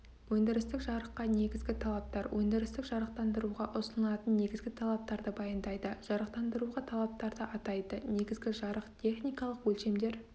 өндірістік жарыққа негізгі талаптар өндірістік жарықтандыруға ұсынылатын негізгі талаптарды баяндайды жарықтандыруға талаптарды атайды негізгі жарық техникалық өлшемдер